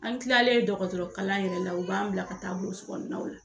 An kilalen dɔgɔtɔrɔ kalan yɛrɛ la u b'an bila ka taa burusi kɔnɔ naw la.